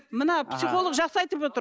мына психолог жақсы айтып отыр